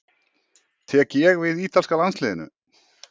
Tek ég við ítalska landsliðinu?